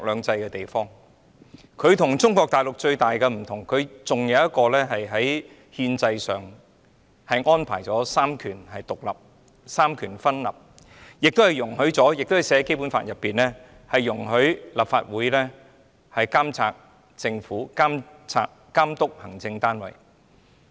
香港與中國大陸最大的分別，在於香港在憲制上仍是三權獨立、三權分立，而《基本法》亦訂明，立法會可監察政府和監督行政單位。